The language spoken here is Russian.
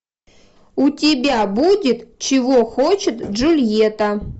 у тебя будет чего хочет джульетта